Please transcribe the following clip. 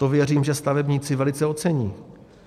To, věřím, že stavebníci velice ocení.